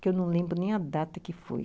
Que eu não lembro nem a data que foi.